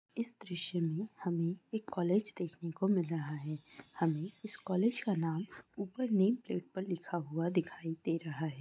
इस दृश्य में हमें एक कॉलेज देखने को मिल रहा है हमें इस कॉलेज का नाम ऊपर नेम प्लेट पर लिखा हुआ दिखाई दे रहा है।